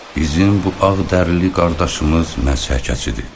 Bizim bu ağdərli qardaşımız məhsəkəçidir.